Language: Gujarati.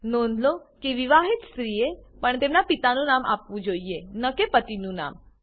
નોંધ લો કે વિવાહિત સ્ત્રીએ પણ તેમનાં પિતાનું નામ આપવું જોઈએ ન કે પતિનું નામ